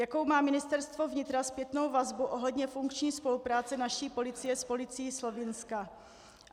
Jakou má Ministerstvo vnitra zpětnou vazbu ohledně funkční spolupráce naší policie s policií Slovinska?